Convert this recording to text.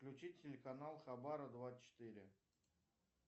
включи телеканал хабара двадцать четыре